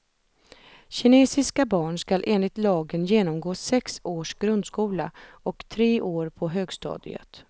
Kinesiska barn skall enligt lagen genomgå sex års grundskola och tre år på högstadiet.